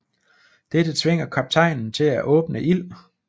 Dette tvinger kaptajnen til at åbne ild